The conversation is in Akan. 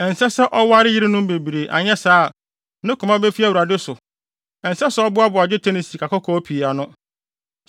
Ɛnsɛ sɛ ɔware yerenom bebree anyɛ saa a, ne koma befi Awurade so. Ɛnsɛ sɛ ɔboaboa dwetɛ ne sikakɔkɔɔ pii ano.